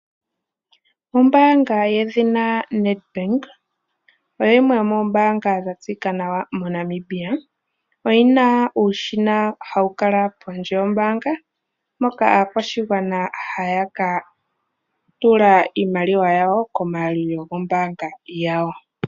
Ombaanga yedhina Nedbank oyo yimwe yomoombaanga dha tseyika nawa moNamibia. Oyina uushina wuli pondje yombaanga moka aakwashigwana haya ka tula iimaliwa komaalulilo goombanga dhawo.